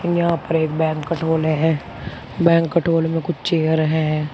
यहां पर एक बैंक्वेट हाले हैं बैंक्वेट हाल में कुछ चेयर है।